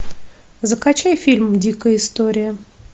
закачай фильм дикая история